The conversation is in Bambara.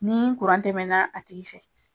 Ni tɛmɛna a tigi fɛ